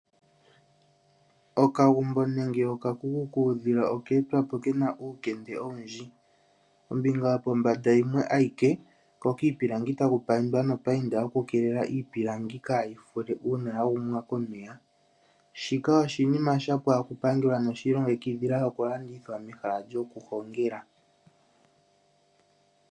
Okagumbo nenge okakuku kuudhila oka etwapo kena uulemde owundji. Ombinga yopombanda yimwe ayike ko kiipilangi taku paindwa nopainda yoku keelela iipilangi kayi fake uuna ya gumwa komeya. Shika oshinima shapwa no shi ilongekidhila okulanditha mehala lyoku hongela.